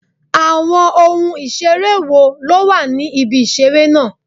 Àwọn ohun ìṣeré wo ló wà ní ibi ìṣeré náà?